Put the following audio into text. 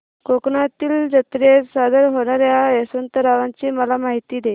कोकणातील जत्रेत सादर होणार्या दशावताराची मला माहिती दे